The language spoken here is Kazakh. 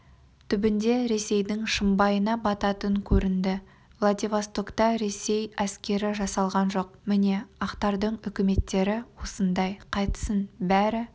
түбінде ресейдің шымбайына бататын көрінді владивостокта ресей әскері жасалған жоқ міне ақтардың үкіметтері осындай қайтсін бәрі